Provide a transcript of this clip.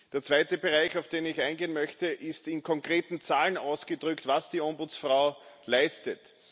Der zweite Bereich, auf den ich eingehen möchte, ist, in konkreten Zahlen ausgedrückt, was die Ombudsfrau leistet.